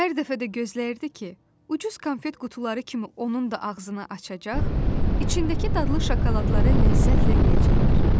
Hər dəfə də gözləyirdi ki, ucuz konfet qutuları kimi onun da ağzını açacaq, içindəki dadlı şokoladları ləzzətlə yeyəcəklər.